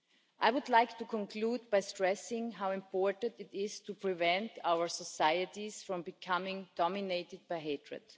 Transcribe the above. I would like to conclude by stressing how important it is to prevent our societies from becoming dominated by hatred.